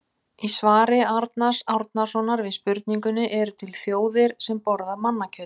Í svari Arnars Árnasonar við spurningunni Eru til þjóðir sem borða mannakjöt?